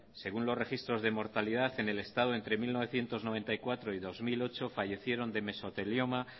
según los registros de mortalidad en el estado entre mil novecientos noventa y cuatro y dos mil ocho fallecieron de mesotelioma